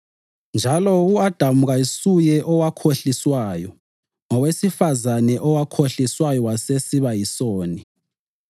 Njalo u-Adamu kasuye owakhohliswayo; ngowesifazane owakhohliswayo wasesiba yisoni.